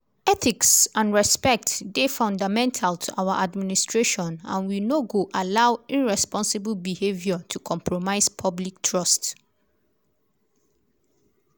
"ethics and respect dey fundamental to our administration and we no go allow irresponsible behaviour to compromise public trust.